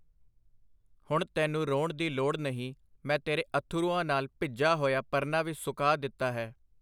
ਹੁਣ ਤੈਨੂੰ ਰੋਣ ਦੀ ਲੋੜ ਨਹੀਂ, ਮੈਂ ਤੇਰੇ ਅੱਥਰੂਆਂ ਨਾਲ ਭਿੱਜਾ ਹੋਇਆ ਪਰਨਾ ਵੀ ਸੁਕਾ ਦਿੱਤਾ ਹੈ”.